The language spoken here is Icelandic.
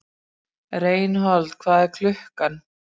Reinhold, hvað er klukkan?